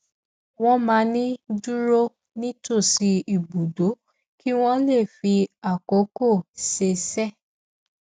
wọn máa ń dúró nítòsí ibùdó kí wọn lè fi àkókò ṣeéṣe